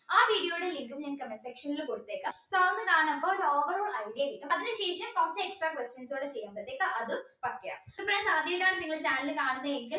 ആ video യുടെ link ഉം comment section ൽ കൊടുത്തേക്കാം so അത് കാണുമ്പോൾ overoal idea കിട്ടും അതിന് ശേഷം first examble ഇത് പോലെ ചെയ്യാം അതും പറയാം ഈ channel അത്യമായാണ് കാണുന്നതെങ്കിൽ